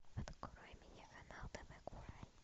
открой мне канал тв курай